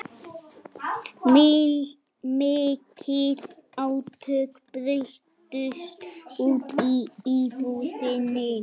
Mikil átök brutust út í íbúðinni